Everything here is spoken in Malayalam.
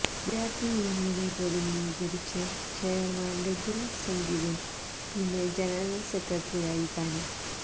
വിദ്യാര്ഥി യൂണിയനെ പ്രതിനിധീകരിച്ച് ചെയര്മാന് രഘുറാം സംഗീതും പിന്നെ ജനറല്സെക്രട്ടറിയായ താനും